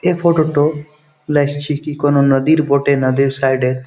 এই ফটো -টো লাগছে কি কোনো নদীর বটে না নদী সাইড -এর ।